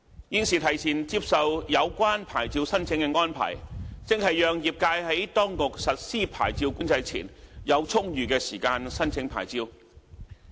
現時提前接受有關牌照申請的安排，正是讓業界在當局實施牌照管制前，有充裕的時間申請牌照。